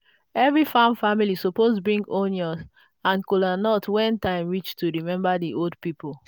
every farm family suppose bring onion and kolanut when time reach to remember the old people.